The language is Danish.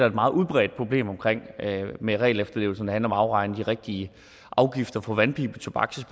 et meget udbredt problem med regelefterlevelse når det handler om at afregne de rigtige afgifter for vandpibetobak så